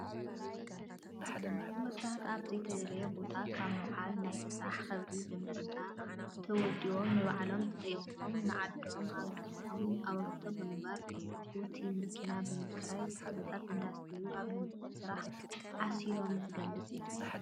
ወጣት ኣብ ዘይተደለየ ቦታ ካብ ምውዓል ናይ ስራሕ ክብሪ ብምርዳእ ተወዲቦም ንባዕሎም ተጠቂሞም ንዓዶም ኣበርክቶ ብምግባር ቦቲ መኪና ብምክራይ ተኽልታት እንዳስተዩ ኣብ ልምዓት ስራሕ ዓሲሎም ዝገልፅ እዩ።